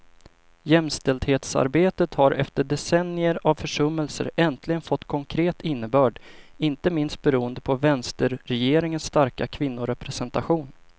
Jämställdhetsarbetet har efter decennier av försummelser äntligen fått konkret innebörd, inte minst beroende på vänsterregeringens starka kvinnorepresentation.